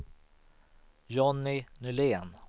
Johnny Nylén